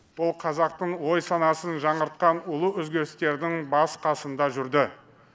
ол қазақтың ой санасын жаңғыртқан ұлы өзгерістердің басы қасында жүрді